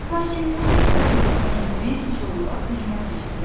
Lakin musiqi səsi kəsilən kimi siçovullar hücuma keçdilər.